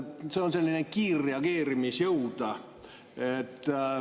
See on kiirreageerimisjõud.